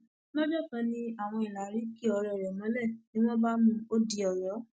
lọjọ kan ni àwọn ìlàrí ki ọrẹ rẹ mọlẹ ni wọn bá mú un ó di ọyọ